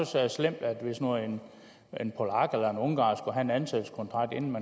så slemt hvis nu en polak eller en ungarer skulle have en ansættelseskontrakt inden